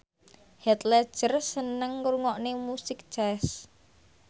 Heath Ledger seneng ngrungokne musik jazz